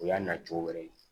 O y'a nacogo wɛrɛ ye